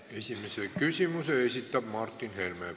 Esimese küsimuse esitab Martin Helme.